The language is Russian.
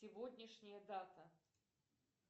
сегодняшняя дата